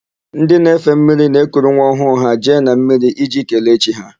Ndị na-efe mmiri na-ekuru nwa ọhụụ ha jee na mmiri iji kelee chi ha.